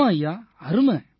ஆமாம் ஐயா அருமை